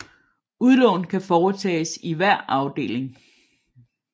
Udlån kan foretages i hver afdeling